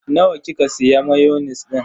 Nawa kika siya mayonis din?